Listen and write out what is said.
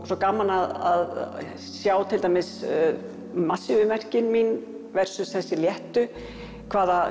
svo gaman að sjá til dæmis massífu verkin mín versus þessi léttu hvaða